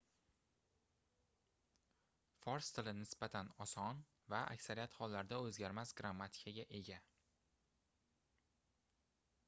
fors tili nisbatan oson va aksariyat hollarda oʻzgarmas grammatikaga ega